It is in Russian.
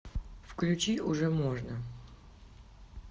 включи уже можно